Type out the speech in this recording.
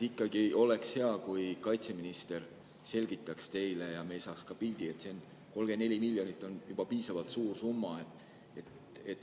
Ikkagi oleks hea, kui kaitseminister selgitaks teile ja ka meie saaks pildi, sest 34 miljonit on piisavalt suur summa.